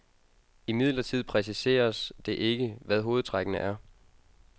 Imidlertid præciseres det ikke, hvad hovedtrækkene er.